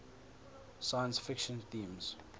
science fiction themes